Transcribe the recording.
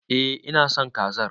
Eh ina son kazar.